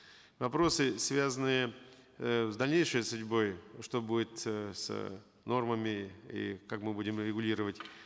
вопросы связанные э с дальнейшей судьбой что будет э с нормами и как мы будем регулировать